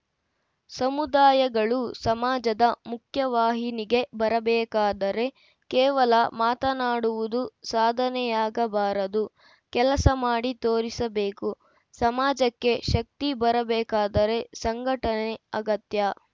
ಸಮುದಾಯಗಳು ಸಮಾಜದ ಮುಖ್ಯವಾಹಿನಿಗೆ ಬರಬೇಕಾದರೆ ಕೇವಲ ಮಾತನಾಡುವುದು ಸಾಧನೆಯಾಗ ಬಾರದು ಕೆಲಸ ಮಾಡಿ ತೋರಿಸಬೇಕು ಸಮಾಜಕ್ಕೆ ಶಕ್ತಿ ಬರಬೇಕಾದರೆ ಸಂಘಟನೆ ಅಗತ್ಯ